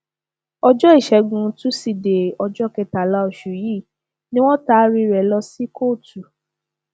ọjọ ìṣègùn tusidee ọjọ kẹtàlá oṣù yìí ni wọn taari rẹ lọ sí kóòtù